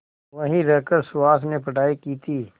वहीं रहकर सुहास ने पढ़ाई की थी